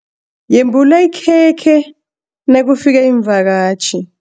Yembula ikhekhe nakufika iimvakatjhi.